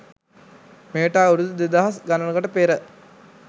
මෙයට අවුරුදු දෙදහස් ගණනකට පෙර